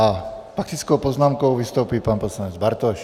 S faktickou poznámkou vystoupí pan poslanec Bartoš.